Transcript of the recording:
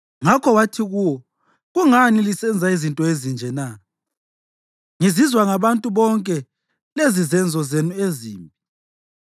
Ngakho wathi kuwo, “Kungani lisenza izinto ezinje na? Ngizizwa ngabantu bonke lezizenzo zenu ezimbi.